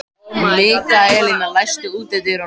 Mikaelína, læstu útidyrunum.